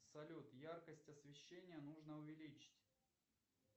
салют яркость освещения нужно увеличить